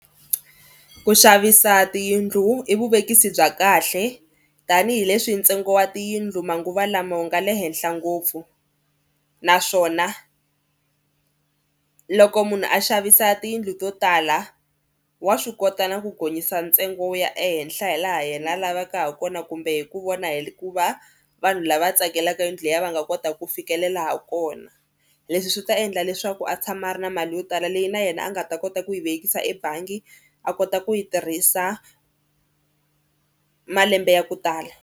Ku xavisa tiyindlu i vuvekisi bya kahle tanihileswi ntsengo wa tiyindlu manguva lama wu nga le henhla ngopfu naswona loko munhu a xavisa tiyindlu to tala wa swi kota na ku gonyisa ntsengo wu ya ehenhla hi laha yena a lavaka ha kona kumbe hi ku vona hi ku va vanhu lava tsakelaka yindlu leyi va nga kota ku fikelela ha kona. Leswi swi ta endla leswaku a tshama a ri na mali yo tala leyi na yena a nga ta kota ku yi vekisa ebangi a kota ku yi tirhisa malembe ya ku tala.